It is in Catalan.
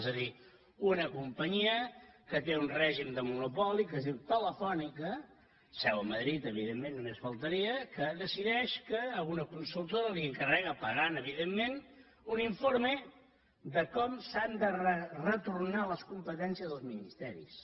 és a dir una companyia que té un règim de monopoli que es diu telefónica amb seu a madrid evidentment només faltaria que decideix que a una consultora li encarrega pagant evidentment un informe de com s’han de retornar les competències als ministeris